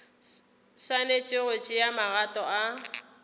swanetše go tšea magato a